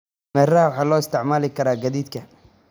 Dameeraha Waxaa loo isticmaali karaa gaadiidka.